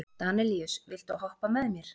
Danelíus, viltu hoppa með mér?